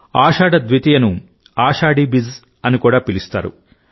ఆషాఢ ద్వితీయనుఆషాఢీ బిజ్ అని కూడా పిలుస్తారు